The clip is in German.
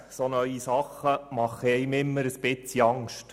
Neue Dinge machen einem immer ein wenig Angst.